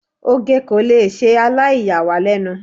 oge ko le sẹ alaiyawalenu